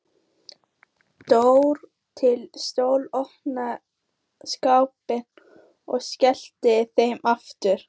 Dró til stóla, opnaði skápa og skellti þeim aftur.